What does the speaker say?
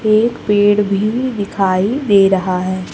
एक पेड़ भी दिखाई दे रहा है।